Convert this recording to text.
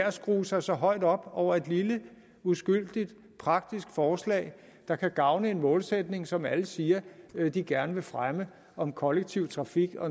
at skrue sig så højt op over et lille uskyldigt praktisk forslag der kan gavne en målsætning som alle siger de gerne vil fremme om kollektiv trafik